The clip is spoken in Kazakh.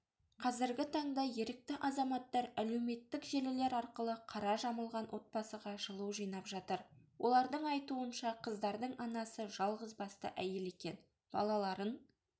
қазіргі таңда ерікті азаматтар әлеуметтік желілер арқылы қара жамылған отбасыға жылу жинап жатыр олардың айтуынша қыздардың анасы жалғызбасты әйел екен балаларын